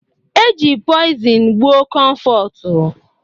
E ji poizin gbuọ Komfotu.